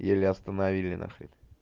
еле остановили на хрен